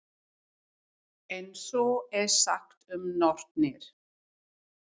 En svo er sagt um nornir.